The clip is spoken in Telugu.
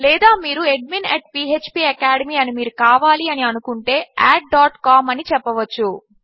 లేదా మీరు అడ్మిన్ php అకాడెమీ అని మీరు కావాలి అని అనుకుంటే అడ్ com అని చెప్పవచ్చు